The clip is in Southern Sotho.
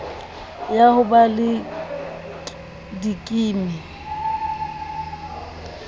ya ho ba le dikimi